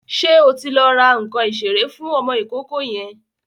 Ṣé o ti lọ ra nǹkan ìṣeré fún ọmọ ìkókó yẹn?